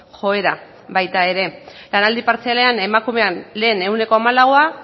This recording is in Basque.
joera baita ere lanaldi partzialean emakumean lehen ehuneko hamalaua